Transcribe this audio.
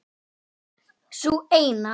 Sú eina!